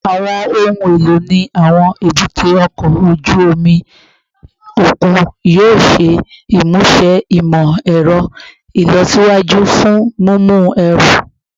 Awọn ohun elo ni awọn ebute oko oju omi okun yoo ṣe imuse imọ-ẹrọ ilọsiwaju fun mimu ẹru